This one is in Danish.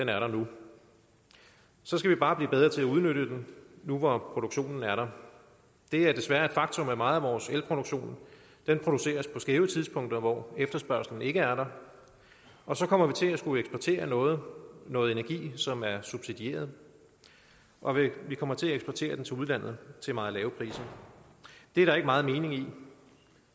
er der så skal vi bare blive bedre til at udnytte den nu hvor produktionen er der det er desværre et faktum at meget af vores el produceres på skæve tidspunkter hvor efterspørgslen ikke er der og så kommer vi til at skulle eksportere noget noget energi som er subsidieret og vi kommer til at eksportere den til udlandet til meget lave priser det er der ikke meget mening i